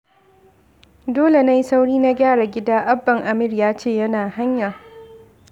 Dole na yi sauri na gyara gida, Abban Amir ya ce yana hanya